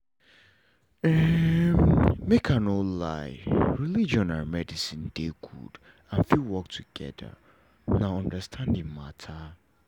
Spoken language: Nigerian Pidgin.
make i no lie religion and medicine dey good and fit work together na understanding matter